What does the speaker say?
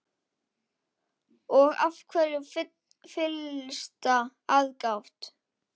Og af hverju fyllsta aðgát?